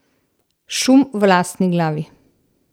Šum v lastni glavi.